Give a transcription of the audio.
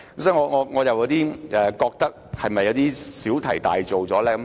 所以，我們是否有點小題大做？